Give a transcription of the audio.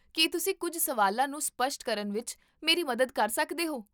ਕੀ ਤੁਸੀਂ ਕੁੱਝ ਸਵਾਲਾਂ ਨੂੰ ਸਪੱਸ਼ਟ ਕਰਨ ਵਿੱਚ ਮੇਰੀ ਮਦਦ ਕਰ ਸਕਦੇ ਹੋ?